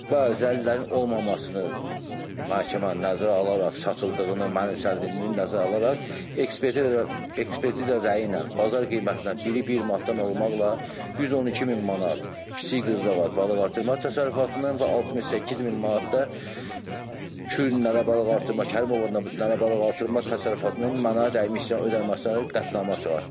Və zəlilərin olmamasını məhkəmə nəzərə alaraq satıldığını, mənimsəlirtdiyini nəzərə alaraq, ekspert ekspertiza rəyi ilə bazar qiymətinə biri bir manatdan olmaqla 112000 manat kiçik qız balıqartırma təsərrüfatının və 68000 manat da Kür balıqartırma Kərimovun balıqartırma təsərrüfatının mənə dəymiş ziyan ödənilməsinə qətnamə çıxartdı.